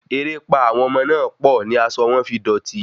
Erépá àwọn ọmọ náà pọ̀ ni asọ wọn fi dòti